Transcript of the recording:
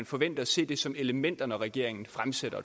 forvente at se det som elementer når regeringen fremsætter